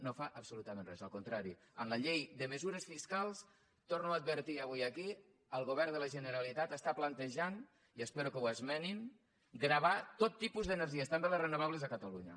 no fa absolutament res al contrari en la llei de mesures fiscals ho torno a advertir avui aquí el govern de la generalitat està plantejant i espero que ho esmenin gravar tot tipus d’energies també les renovables a catalunya